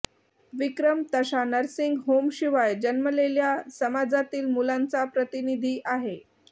विक्रम तशा नर्सिंग होमशिवाय जन्मलेल्या समाजातील मुलांचा प्रतिनिधी आहे